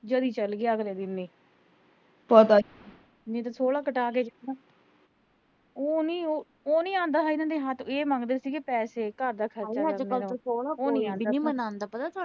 ਜਦੀ ਚਲ ਗਿਆ ਅਗਲੇ ਦਿਨ ਉਹ ਮੈਨੂੰ ਤਾਂ ਥੋੜਾ ਪਤਾ ਹਜੇ ਵਿੱਚੋਂ ਉਹ ਨੀਂ ਉਹ, ਉਹ ਨੀਂ ਆਂਦਾ, ਇਹ ਮੰਗਦੇ ਸੀਗੇ ਪੈਸੇ, ਘਰ ਦਾ ਖਰਚਾ